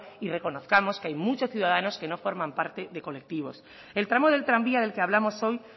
y reconozcamos que hay muchos ciudadanos que no forman parte de colectivos el tramo del tranvía del que hablamos hoy